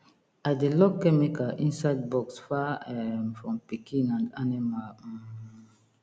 i dey lock chemical inside box far um from pikin and animal um